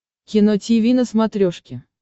кино тиви на смотрешке